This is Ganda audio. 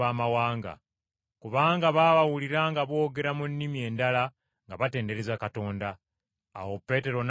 Kubanga baabawulira nga boogera mu nnimi endala nga batendereza Katonda. Awo Peetero n’agamba nti,